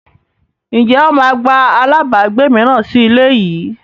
Ǹjẹ́ wọn máa gba àlábagbé mìíràn sì ilé yìí?